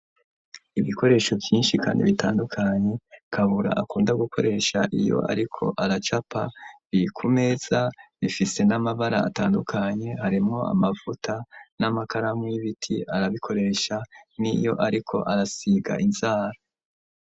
Ibikoresho vyinshi, kandi bitandukanye kabura akunda gukoresha iyo, ariko aracapa bikumeza bifise n'amabara atandukanye harimwo amavuta n'amakaramu y'ibiti arabikoresha n'i yo, ariko arasiga inzara.